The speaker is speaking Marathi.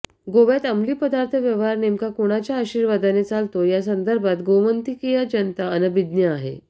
गोव्यात अमलीपदार्थ व्यवहार नेमका कुणाच्या आशीर्वादाने चालतो या संदर्भात गोमंतकीय जनता अनभिज्ञ आहे